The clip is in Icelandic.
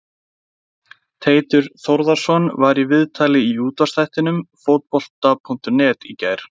Teitur Þórðarson var í viðtali í útvarpsþættinum Fótbolta.net í gær.